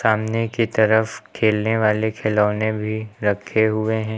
सामने की तरफ खेलने वाले खिलौने भी रखे हुए हैं।